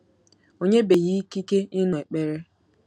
O nyebeghị ikike ịnụ ekpere.